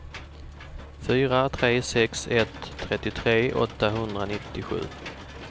fyra tre sex ett trettiotre åttahundranittiosju